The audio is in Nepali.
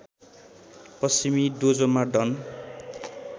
पश्चिमी डोजोमा डन